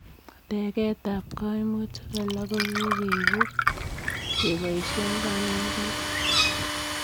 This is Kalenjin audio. Tegeet ap kaimutik alaak ko kikepuut kepaishee kanetutiik ak